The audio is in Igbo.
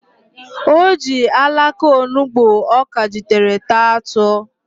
O ji alaka onugbo ọ kajitere taa atụ.